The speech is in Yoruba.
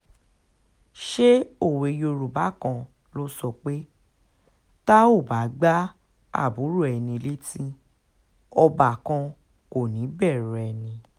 ṣé òwe yorùbá kan ló sọ pé tá ò bá gba àbúrò ẹni létí ọbàkan kò ní í bẹ̀rù ẹni